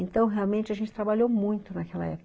Então, realmente, a gente trabalhou muito naquela época.